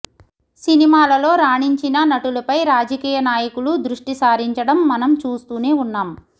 సినిమాలలో రాణించిన నటులపై రాజకీయ నాయకులు దృష్టిసారించడం మనం చూస్తూనే ఉన్నాం